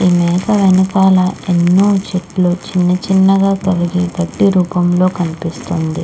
పచ్చనైన గడ్డి ఈ మేకల వెనకాల చిన్న చిన్నగా కరిగి గడ్డి రూపం లో కనిపిస్తుంది .